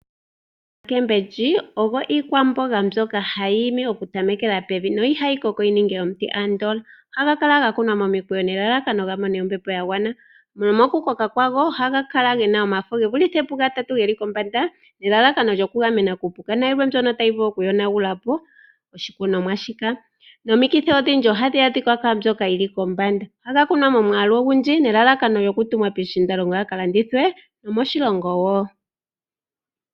Omboga oyo iikwamboga mbyoka hayi imi okutamekela pevi niihayi koko yi ninge omuti andola. Ohadhi kala dha kunwa momukweyo nelalakano dhi mone ombepo ya gwana. Mokukoka kwago ohaga kala ge na omafo ge vulithe pugatatu ge li kombanda nelalakano okuga gamena kuupuka nayilwe mbyono tayi vulu okuyonagula po oshikunomwa shika. Omikithi odhindji ohadhi adhika kwaa mbyoka yi li kombanda. Ohaga kunwa momwaalu ogundji nelalakano lyokutumwa pondje ga ka landithwe nomoshilongo wo.